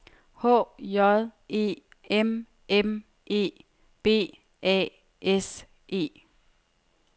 H J E M M E B A S E